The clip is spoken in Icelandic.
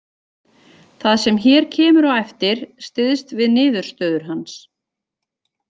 Það sem hér kemur á eftir styðst við niðurstöður hans.